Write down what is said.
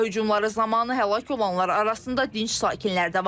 Hava hücumları zamanı həlak olanlar arasında dinc sakinlər də var.